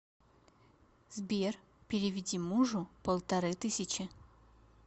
сбер переведи мужу полторы тысячи